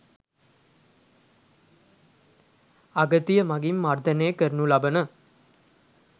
අගතිය මගින් මර්දනය කරනු ලබන